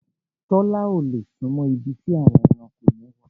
Tọ́lá ò lè súnmọ́ ibi tí àwọn ẹranko yẹn wà.